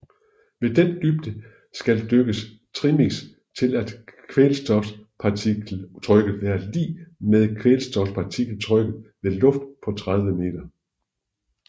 Ved den dybde der skal dykkes trimix til skal kvælstofpartialtrykket være lig med kvælstofpartialtrykket ved luft på 30 meter